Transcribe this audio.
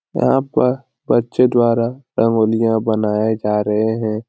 यहाँ पर बच्चे द्वारा रंगोलियाँ बनाये जा रहें हैं।